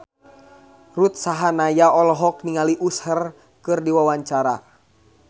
Ruth Sahanaya olohok ningali Usher keur diwawancara